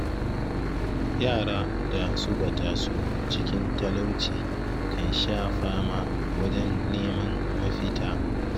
Yara da suka taso cikin talauci kan sha fama wajen neman mafita.